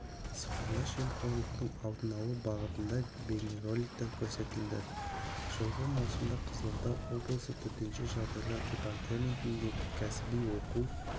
сыбайлас жемқорлықтың алдын алу бағытында бейнероликтер көрсетілді жылғы маусымда қызылорда облысы төтенше жағдайлар департаментінде кәсіби оқу